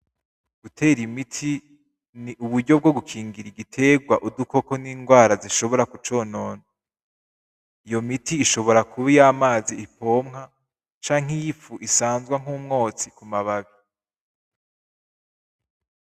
Gutera imiti, ni uburyo bwo gukingira igiterwa udukoko n'ingwara zishobora kuconona. Iyo miti ishobora kuba iyamazi ipomwa canke yifu isanzwa nk'umwotsi kumababi.